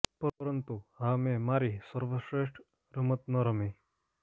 પરંતુ હા મેં મારી સર્વશ્રેષ્ઠ રમત ન રમી